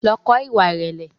Lọ kọ́ ìwà ìrẹ̀lẹ̀!